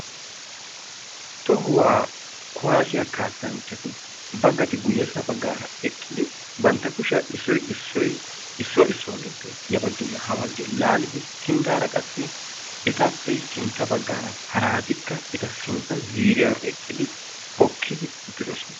Tohuwa kuwasiya kaassanchchatti nagatti guye bagan bantta kushiya laalliddi hokki uttidosonna.